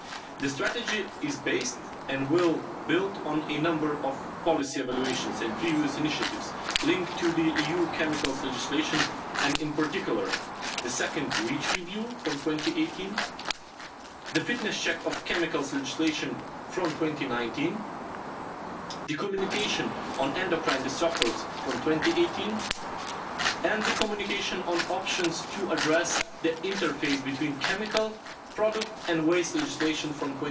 The strategy is based and will build on a number of policy evaluations and previous initiatives linked to the EU chemicals legislation and in particular the second REACH review from 2018, the fitness check of chemicals legislation from 2019, the Communication on endocrine disrupters from 2018 and the Communication on options to address the interface between chemical, product and waste legislation from